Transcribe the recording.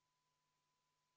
Hea Riigikogu, jätkame tööd!